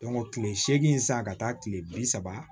kile seegin san ka taa kile bi saba